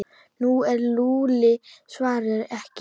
En Lúlli svaraði ekki.